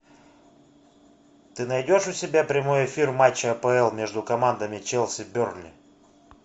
ты найдешь у себя прямой эфир матча апл между командами челси бернли